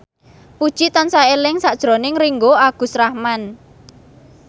Puji tansah eling sakjroning Ringgo Agus Rahman